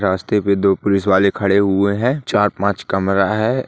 रास्ते पे दो पुलिस वाले खड़े हुए है चार पांच कमरा है।